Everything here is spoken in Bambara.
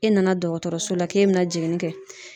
E nana dɔgɔtɔrɔso la k'e be na jiginni kɛ.